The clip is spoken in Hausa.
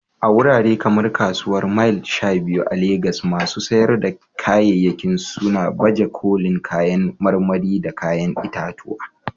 A wurare kamar Kasuwar Mile 12 a Legas, masu sayar da kayayyaki suna baje kolin kayan marmari da kayan itatuwa